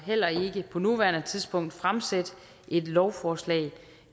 heller ikke på nuværende tidspunkt fremsætte et lovforslag